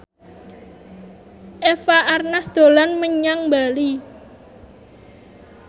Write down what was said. Eva Arnaz dolan menyang Bali